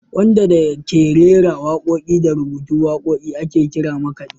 Wanda da ke rera waƙoƙi da rubuta waƙoƙi ake kira makaɗi.